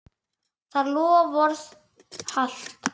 Það loforð halt.